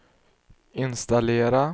installera